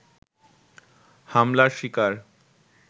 হামলার শিকার